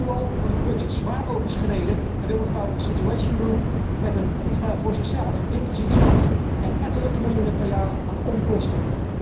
Nu al wordt het budget zwaar overschreden en wil mevrouw een situatiecentrum met een vliegtuig voor zichzelf inclusief staf en ettelijke miljoenen per jaar aan onkosten.